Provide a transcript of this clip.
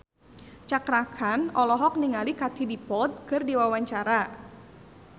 Cakra Khan olohok ningali Katie Dippold keur diwawancara